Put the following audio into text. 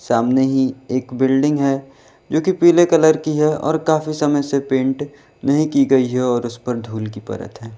सामने ही एक बिल्डिंग है जो की पीले कलर की है और काफी समय से पेंट नहीं की गई है और उस पर धूल की परत है।